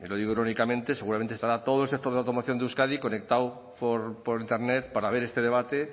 seguramente estará todo el sector de la automoción de euskadi conectado por internet para ver este debate